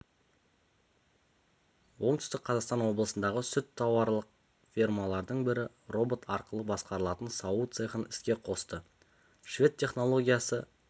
оңтүстік қазақстан облысындағы сүт тауарлық фермалардың бірі робот арқылы басқарылатын сауу цехын іске қосты швед технологиясы